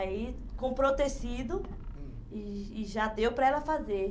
Aí comprou tecido, hum, e e já deu para ela fazer.